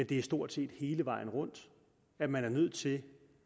det stort set er hele vejen rundt at man er nødt til